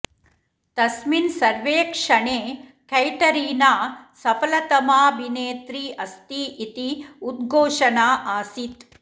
तस्मिन् सर्वेक्षणे कैटरीना सफलतमाऽभिनेत्री अस्ति इति उद्घोषणा आसीत्